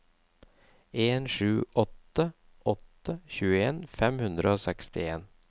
en sju åtte åtte tjueen fem hundre og sekstien